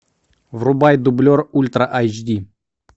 врубай дублер ультра эйч ди